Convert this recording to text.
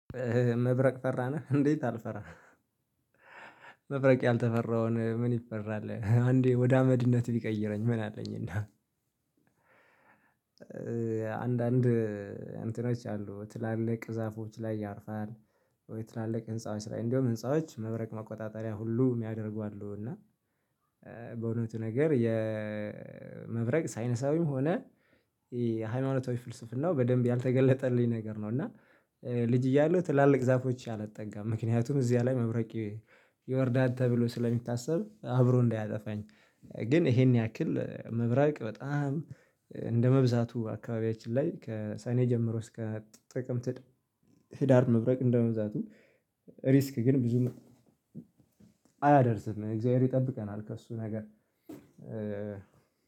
መብረቅ ፈሪ ነህ እንዴት? አልፈራም። መብረቅ ያልተፈራውን ምን ይፈራል? አንዴ ወደ አመድነት ቢቀይረኝ ምን አለኝና። አንዳንድ እንትኖች አሉ ትላልቅ ዛፎች ላይ ያርፋል። ትላልቅ ህንፃዎች ላይ እንደውም ህንፃዎች መብረቅ መቆጣጠሪያ ሁሉ ሚያደርጉ አሉ። እና በእውነቱ ነገር የመብረቅ ሳይንሳዊም ሆነ ሃይማኖቶች ፍልስፍናው በደንብ ያልተገለጠልኝ ነገር ነው። እና ልጅ እያለሁ ትላልቅ ዛፎች አልጠጋም ምክንያቱም እዚህ ላይ መብረቅ ይወርዳል ተብሎ ስለሚታሰብ አብሮ እንዳያጠፋኝ። ግን ይሄን ያክል መብረቅ በጣም እንደመብዛቱ አካባቢያችን ላይ ከሰኔ ጀምሮ እስከ ጥቅምት ህዳር መብረቅ እንደመዛቱ። ሪስክ ግን ብዙም አያደርስም እግዚአብሔር ይጠብቀናል። ከእሱ ነገር